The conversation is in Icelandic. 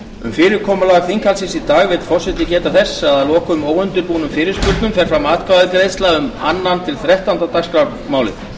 um fyrirkomulag þinghaldsins í dag vill forseti geta þess að að loknum óundirbúnum fyrirspurnum fer fram atkvæðagreiðsla um annað til þrettánda dagskrármálin